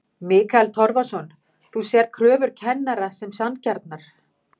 Mikael Torfason: Þú sérð kröfur kennara sem sanngjarnar?